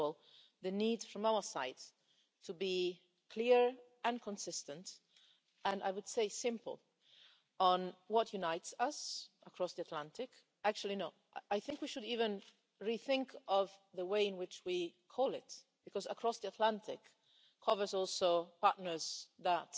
First of all, the need from our side to be clear and consistent and I would say, simple, on what unites us across the Atlantic. Actually, no, I think we should even rethink the way in which we call this because across the Atlantic' also covers partners that